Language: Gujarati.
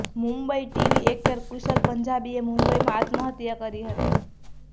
મુંબઈઃ ટીવી એક્ટર કુશલ પંજાબીએ મુંબઈમાં આત્મહત્યા કરી હતી